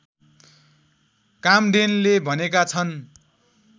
काम्डेनले भनेका छन्